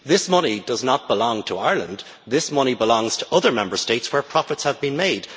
This money does not belong to Ireland, this money belongs to other Member States where profits have been made.